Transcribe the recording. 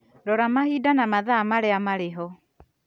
Rora mahinda na mathaa marĩa marĩ ho